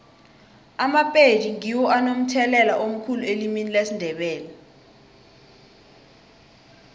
amapedi ngiwo anomthelela omkhulu elimini lesindebele